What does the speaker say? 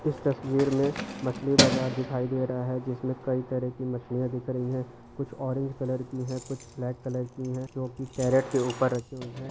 इस तस्वीर में मछली बज़र देख--